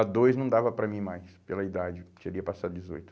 A dois não dava para mim mais, pela idade, eu tinha passado de dezoito.